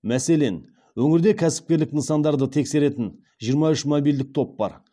мәселен өңірде кәсіпкерлік нысандарын тексеретін жиырма үш мобильдік топ бар